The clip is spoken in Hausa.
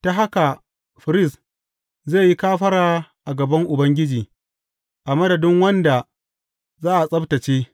Ta haka firist zai yi kafara a gaban Ubangiji a madadin wanda za a tsabtacce.